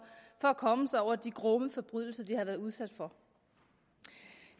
at komme sig over de grumme forbrydelser de har været udsat for